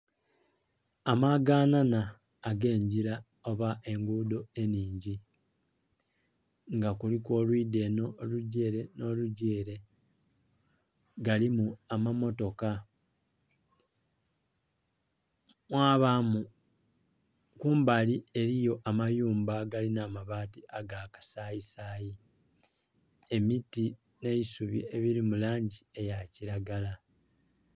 Amaga nhanha age ngila oba engudho enhingi nga kuliku olwidha enho olugya ere, nho gya ere galimu amammotoka mwabamu kumbali eliyo amayumba agalinha amabaati aga kasayi sayi, emiti nh'eisubi ebili mulangi eya kilagala.